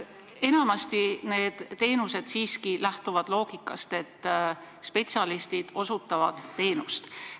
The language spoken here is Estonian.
Enamasti lähtutakse nende teenuste puhul siiski loogikast, et spetsialistid osutavad teenust.